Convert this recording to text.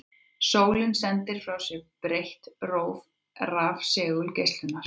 Sólin sendir frá sér breitt róf rafsegulgeislunar.